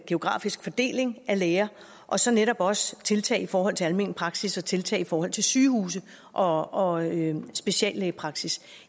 geografisk fordeling af læger og så netop også tiltag i forhold til almen praksis og tiltag i forhold til sygehuse og og speciallægepraksis